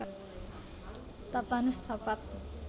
Tapanus Tapat